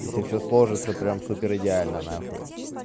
если всё сложится прямо супер идеально нахуй